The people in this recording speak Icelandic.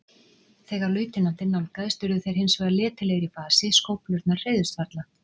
Þegar lautinantinn nálgaðist urðu þeir hins vegar letilegir í fasi, skóflurnar hreyfðust varla.